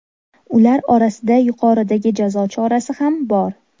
Ular orasida yuqoridagi jazo chorasi ham bor.